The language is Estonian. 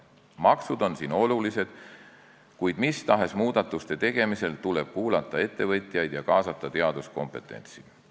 Maksud on siin olulised, kuid mis tahes muudatuste tegemisel tuleb kuulata ettevõtjaid ja kaasata teaduskompetentsi.